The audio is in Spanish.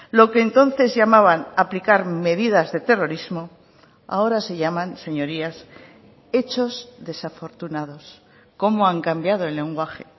lo que entonces llamaban aplicar medidas de terrorismo ahora se llaman señorías hechos desafortunados cómo han cambiado el lenguaje